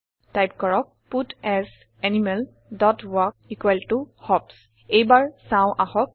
type কৰক পাটছ animal dot walk equal ত হপছ এইবাৰ চাওঁ আহক